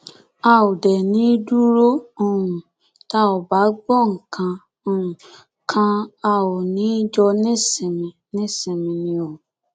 a ò dé ní í dúró um tá ò bá gbọ nǹkan um kan a ò ní í jọ nísinmi nísinmi ni o